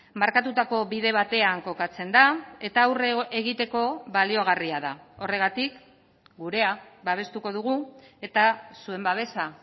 markatutako bide batean kokatzen da eta aurre egiteko baliagarria da horregatik gurea babestuko dugu eta zuen babesa